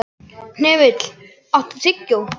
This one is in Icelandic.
Hnefill, áttu tyggjó?